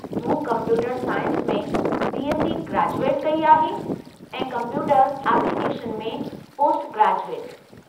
मूं computer science में BSc graduate कई आहे ऐं कंप्यूटर एप्लीकेशन में पोस्टग्रेजुएट।